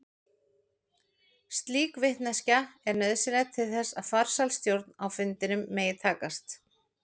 Slík vitneskja er nauðsynleg til þess að farsæl stjórn á fundinum megi takast.